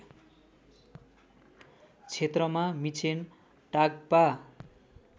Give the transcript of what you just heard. क्षेत्रमा मिक्षेन टाग्पा